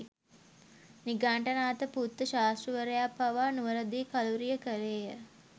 නිගණ්ඨනාථ පුත්ත ශාස්තෘවරයා පාවා නුවරදි කලුරිය කළේය.